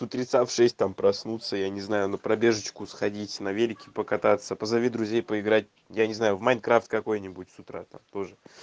с утреца в шесть там проснуться я не знаю на пробежечку сходить на велике покататься позови друзей поиграть я не знаю в майнкрафт какой-нибудь с утра там тоже